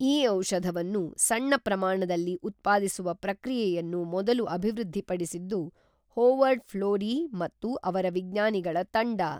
ಈ ಔಷಧವನ್ನು ಸಣ್ಣ ಪ್ರಮಾಣದಲ್ಲಿ ಉತ್ಪಾದಿಸುವ ಪ್ರಕ್ರಿಯೆಯನ್ನು ಮೊದಲು ಅಭಿವೃದ್ಧಿಪಡಿಸಿದ್ದು ಹೋವರ್ಡ್ ಫ್ಲೋರೀ ಮತ್ತು ಅವರ ವಿಜ್ಞಾನಿಗಳ ತಂಡ